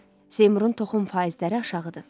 Seymurun toxum faizləri aşağıdır.